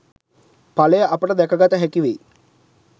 ඵලය අපට දැකගත හැකිවෙයි.